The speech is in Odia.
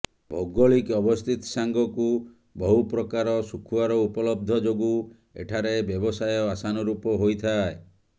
ଭୌଗୋଳିକ ଅବସ୍ଥିତି ସାଙ୍ଗକୁ ବହୁ ପ୍ରକାର ଶୁଖୁଆର ଉପଲବ୍ଧ ଯୋଗୁ ଏଠାରେ ବ୍ୟବସାୟ ଆଶାନୁରୁପ ହୋଇଥାଏ